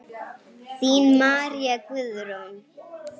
Þín María Guðrún.